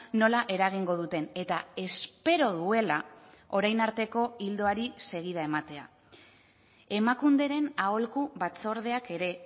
nola eragingo duten eta espero duela orain arteko ildoari segida ematea emakunderen aholku batzordeak ere